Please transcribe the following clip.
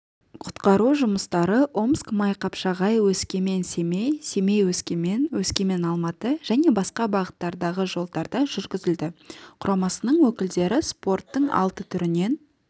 құтқару жұмыстары омск-майқапшағай өскемен-семей семей-өскемен өскемен-алматы және басқа бағыттардағы жолдарда жүргізілді құрамасының өкілдері спорттың алты түрінен